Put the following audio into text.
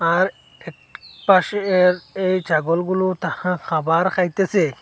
আর এক পাশে এর এই ছাগলগুলু তাহা খাবার খাইতেসে।